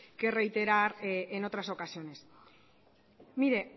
que reiterar en otras ocasiones mire